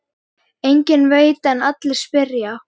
Enginn veit en allir spyrja.